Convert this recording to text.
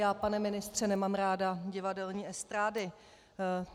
Já, pane ministře, nemám ráda divadelní estrády.